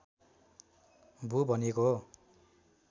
भू भनिएको हो